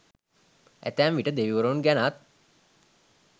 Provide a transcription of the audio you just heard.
ඇතැම් විට දෙවිවරුන් ගැනත්